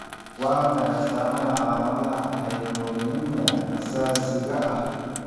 Waa maxay astamaha iyo calaamadaha Hypomagnesemia aasaasiga ah?